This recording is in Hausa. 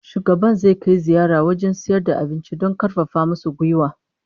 Shugaban zai kai ziyara wajen sayar da abincin don karfafa musu gwiwa